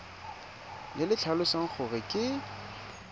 le le tlhalosang gore ke